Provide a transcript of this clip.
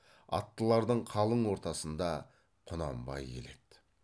аттылардың қалың ортасында құнанбай келеді